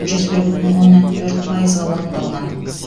жүз бір бүтін оннан төрт пайызға орындалған